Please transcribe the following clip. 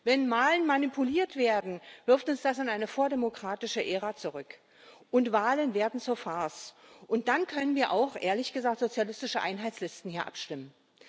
Wenn Wahlen manipuliert werden, wirft uns das in eine vordemokratische Ära zurück und Wahlen werden zur Farce, und dann können wir auch ehrlich gesagt hier über sozialistische Einheitslisten abstimmen.